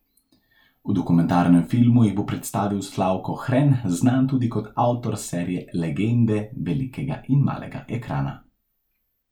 V dokumentarnem filmu jih bo predstavil Slavko Hren, znan tudi kot avtor serije Legende velikega in malega ekrana.